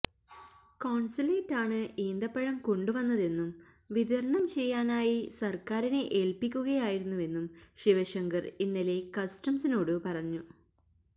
കോണ്സുലേറ്റാണ് ഈന്തപ്പഴം കൊണ്ടുവന്നതെന്നും വിതരണം ചെയ്യാനായി സര്ക്കാരിനെ ഏല്പ്പിക്കുകയായിരുന്നുവെന്നും ശിവശങ്കര് ഇന്നലെ കസ്റ്റംസിനോടു പറഞ്ഞു